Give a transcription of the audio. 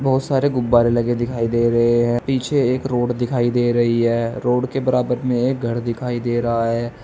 बहोत सारे गुब्बारे लगे दिखाई दे रहे हैं पीछे एक रोड दिखाई दे रही है रोड के बराबर में एक घर दिखाई दे रहा है।